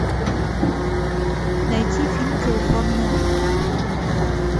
найти фильм телефонная будка